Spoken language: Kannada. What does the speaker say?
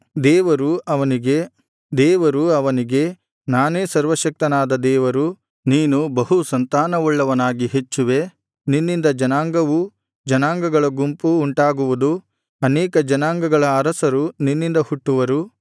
ದೇವರು ಅವನಿಗೆ ನಾನೇ ಸರ್ವಶಕ್ತನಾದ ದೇವರು ನೀನು ಬಹು ಸಂತಾನವುಳ್ಳವನಾಗಿ ಹೆಚ್ಚುವೆ ನಿನ್ನಿಂದ ಜನಾಂಗವೂ ಜನಾಂಗಗಳ ಗುಂಪು ಉಂಟಾಗುವುದು ಅನೇಕ ಜನಾಂಗಗಳ ಅರಸರು ನಿನ್ನಿಂದ ಹುಟ್ಟುವರು